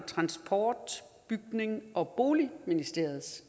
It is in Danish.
transport bygnings og boligministeriets